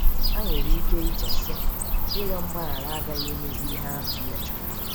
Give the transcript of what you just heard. Ha nwere ike iche, sị, ‘Ịrịọ mgbaghara agaghị emezi ihe ahụ m mejọrọ. '